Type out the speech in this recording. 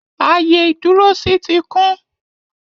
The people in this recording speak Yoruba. Ààyè ìdúrósí ti kún